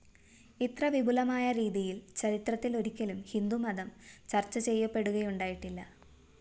ഇത്ര വിപുലമായ രീതിയില്‍ ചരിത്രത്തിലൊരിക്കലും ഹിന്ദുമതം ചര്‍ച്ചചെയ്യപ്പെടുകയുണ്ടായിട്ടില്ല